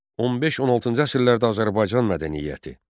15-16-cı əsrlərdə Azərbaycan mədəniyyəti.